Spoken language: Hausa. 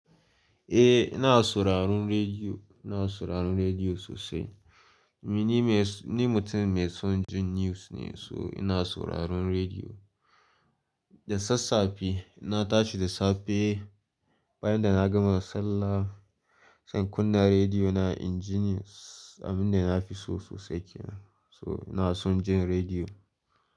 Eh ina sauraron rediyo, ina sauraron rediyo sosai. Ni, ni mai, ni mutum mai son jin news ne so ina sauraron rediyo. Da sassafe, na tashi da safe bayan da na gama sallah zan kunna rediyo na inji news abin da na fi so sosai kenan. So ina son jin rediyo.